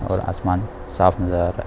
और आसमान साफ नजर आ रहा है।